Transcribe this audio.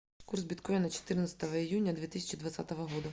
курс биткоина четырнадцатого июня две тысячи двадцатого года